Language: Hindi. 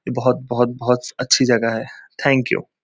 बहोत बहोत बहोत अच्छी जगह है। Thank you.